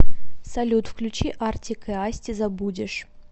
салют включи артик и асти забудешь